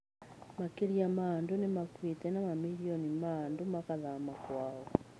Makiri ma andũ nĩ makuĩte na mamirioni ma andũ makahama kwao.